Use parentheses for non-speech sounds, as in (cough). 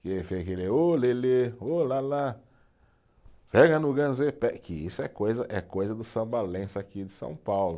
Que ele fez aquele, (sings) ô lê lê, ô lá lá, pega no, (unintelligible) que isso é coisa, é coisa do Samba Lenço aqui de São Paulo.